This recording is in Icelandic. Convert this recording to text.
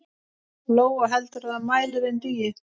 Lóa: Heldurðu að mælirinn dugi?